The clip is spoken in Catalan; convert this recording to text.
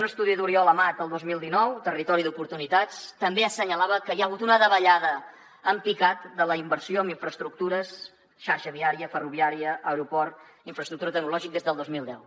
un estudi d’oriol amat el dos mil dinou territori d’oportunitats també assenyalava que hi ha hagut una davallada en picat de la inversió en infraestructures xarxa viària ferroviària aeroport infraestructura tecnològica des del dos mil deu